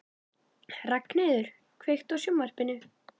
Ragnheiður, kveiktu á sjónvarpinu.